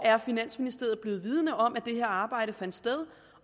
finansministeriet er blevet vidende om at det her arbejde fandt sted